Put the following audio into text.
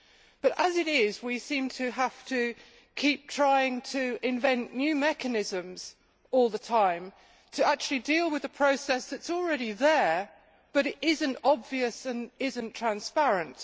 But, as it is, we seem to have to keep trying to invent new mechanisms all the time to actually deal with a process that is already there but is not obvious and is not transparent.